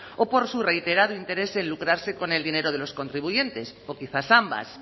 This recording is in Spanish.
o por su reiterado interés en lucrarse con el dinero de los contribuyentes o quizás ambas